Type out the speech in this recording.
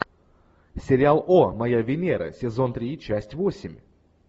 сериал о моя венера сезон три часть восемь